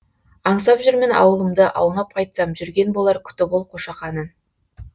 аңсап жүрмін аулымды аунап қайтсам жүрген болар күтіп ол қошақанын